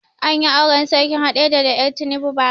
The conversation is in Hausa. Anyi auren sarkin haɗeja da er tinubu ba ra